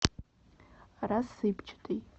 рассыпчатый